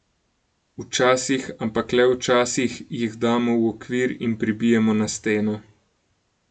Včasih, ampak le včasih jih damo v okvir in pribijemo na steno.